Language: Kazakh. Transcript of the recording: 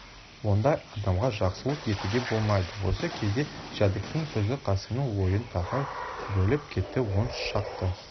ондай адамға жақсылық етуге болмайды осы кезде жәдіктің сөзі қасымның ойын тағы бөліп кетті он шақты